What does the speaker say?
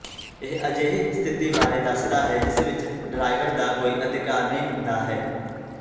ਇਹ ਅਜਿਹੀ ਸਥਿਤੀ ਬਾਰੇ ਦੱਸਦਾ ਹੈ ਜਿਸ ਵਿਚ ਡਰਾਈਵਰ ਦਾ ਕੋਈ ਅਧਿਕਾਰ ਨਹੀਂ ਹੁੰਦਾ ਹੈ